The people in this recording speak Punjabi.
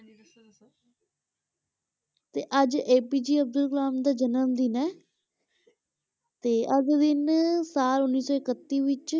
ਤੇ ਅੱਜ APJ ਅਬਦੁਲ ਕਲਾਮ ਦਾ ਜਨਮ ਦਿਨ ਹੈ ਤੇ ਅੱਜ ਦਿਨ ਸਾਲ ਉੱਨੀ ਸੌ ਇਕੱਤੀ ਵਿੱਚ